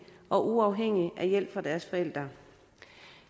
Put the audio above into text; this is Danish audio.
og uafhængige af hjælp fra deres forældre